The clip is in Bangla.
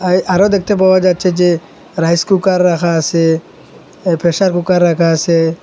এ আরো দেখতে পাওয়া যাচ্ছে যে রাইস কুকার রাখা আসে এ প্রেসার কুকার রাখা আসে।